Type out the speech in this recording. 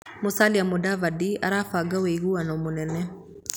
Musalia Mudavadi arabanga wĩiguano mũnene.